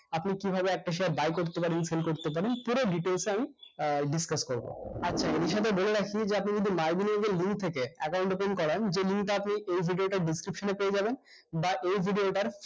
আপনি কিভাবে একটা share buy করতে পারেন sell করতে পারেন পুরো details টা আমি আহ discuss করবো আচ্ছা বিষয়টা বলে রাখি যে আপনি যদি link থেকে account open করান যে link টা আপনি এই video টার description এ পেয়ে যাবেন বা এই video টার